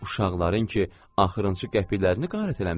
Uşaqların ki axırıncı qəpiklərini qarət eləmisən.